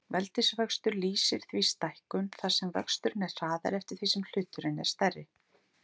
Veldisvöxtur lýsir því stækkun þar sem vöxturinn er hraðari eftir því sem hluturinn er stærri.